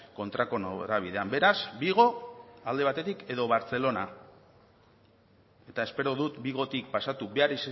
kontrako norabidean beraz vigo alde batetik edo bartzelona eta espero dut vigotik pasatu behar